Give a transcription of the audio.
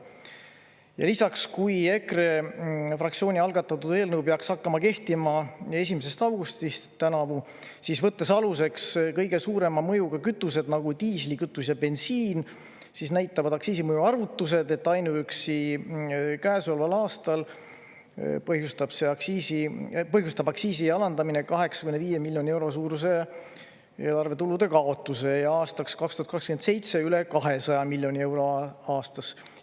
Ja lisaks, kui EKRE fraktsiooni algatatud eelnõu peaks hakkama kehtima 1. augustist tänavu, siis võttes aluseks kõige suurema mõjuga kütused, nagu diislikütus ja bensiin, siis näitavad aktsiisi mõju arvutused, et ainuüksi käesoleval aastal põhjustab aktsiisi alandamine 85 miljoni euro suuruse eelarve tulude kaotuse ja aastaks 2027 üle 200 miljoni euro aastas.